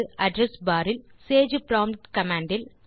address bar இல் sage prompt command இல்